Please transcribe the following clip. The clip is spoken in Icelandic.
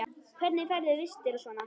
Hvernig færðu vistir og svona?